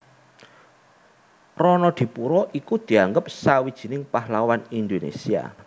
Ronodipuro iku dianggep sawijining pahlawan Indonesia